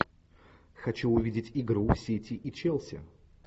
хочу увидеть игру сити и челси